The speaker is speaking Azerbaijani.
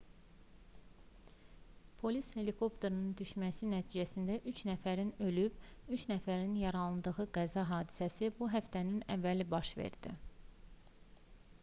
polis helikopterinin düşməsi nəticəsində üç nəfərin ölüb üç nəfərin yaralandığı qəza hadisəsi bu həftənin əvvəli baş verdi